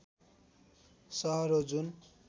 सहर हो जुन